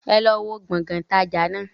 Ẹ lọ wó Gbọ̀ngán ìtajà náà!